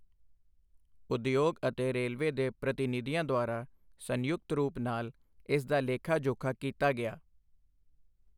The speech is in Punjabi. ਉਦਯੋਗ ਅਤੇ ਰੇਲਵੇ ਦੇ ਪ੍ਰਤੀਨਿਧੀਆਂ ਦਆਰਾ ਸੰਯੁਕਤ ਰੂਪ ਨਾਲ ਇਸ ਦਾ ਲੇਖਾ ਜੋਖਾ ਕੀਤਾ ਗਿਆ।